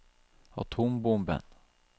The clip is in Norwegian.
atombomben